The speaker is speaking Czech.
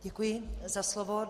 Děkuji za slovo.